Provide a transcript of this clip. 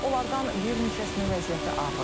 Onlardan bir neçəsinin vəziyyəti ağırdır.